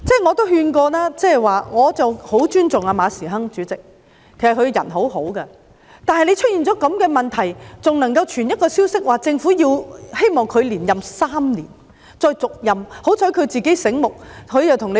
我也勸諭過我很尊重的馬時亨主席，其實他為人很好，但出現這種問題後，還傳出政府希望他再續任3年的消息。